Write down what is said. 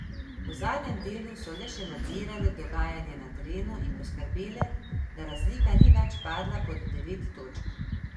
V zadnjem delu so le še nadzirale dogajanje na terenu in poskrbele, da razlika ni več padla pod devet točk.